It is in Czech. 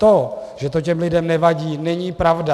To, že to těm lidem nevadí, není pravda.